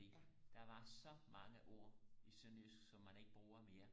fordi der var så mange ord i sønderjysk som man ikke bruger mere